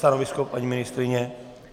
Stanovisko paní ministryně?